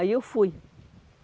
Aí eu fui.